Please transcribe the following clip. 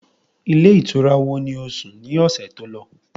Ilé ìtura wo ni ó sùn ni ọ̀sẹ̀ tó lọ?